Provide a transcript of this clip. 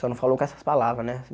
Só não falou com essas palavras, né?